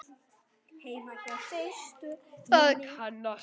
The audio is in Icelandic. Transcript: Heima hjá systur minni?